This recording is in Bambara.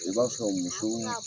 I b'a fɔ sɔrɔ musow